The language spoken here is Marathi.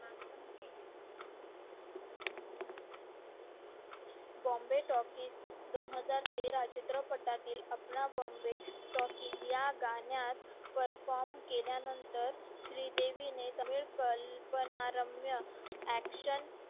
bomby talkis दोन हजारतेरा चित्रपटातील अपना bomby talkis गाण्यात perform केल्या नंतर श्री देवी ने कल्पना रम्य action